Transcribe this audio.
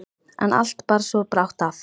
En allt bar svo brátt að.